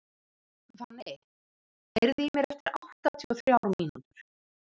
Fanney, heyrðu í mér eftir áttatíu og þrjár mínútur.